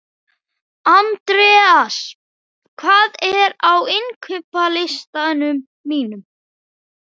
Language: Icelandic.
Andreas, hvað er á innkaupalistanum mínum?